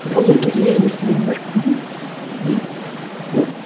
сол бір кез иә естігенім бар мхм иә вот